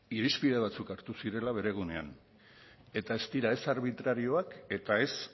irizpide batzuk hartu zirela bere egunean eta ez dira ez arbitrarioak eta ez